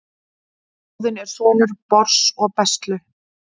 óðinn er sonur bors og bestlu